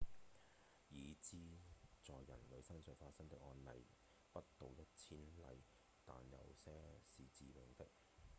已知在人類身上發生的案例不到一千例但有些是致命的